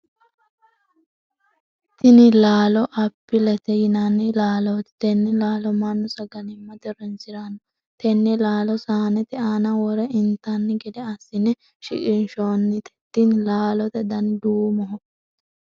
Tinni laalo apilete yinnanni laalooti. Tenne laallo mannu sagalimate horoonsirano. Tenne laalo saanete aanna wore intanni gede asine shiqinshoonnite. Tinne laalote danni duumoho.